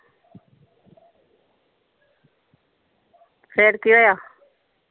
ਫੇਰ ਕਿ ਹੋਇਆ?